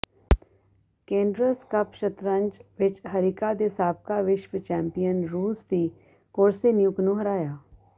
Cairns cup ਸ਼ਤਰੰਜ ਵਿਚ ਹਰਿਕਾ ਨੇ ਸਾਬਕਾ ਵਿਸਵ ਚੈਂਪੀਅਨ ਰੂਸ ਦੀ ਕੋਸਤੇਨਿਯੁਕ ਨੂੰ ਹਰਾਇਆ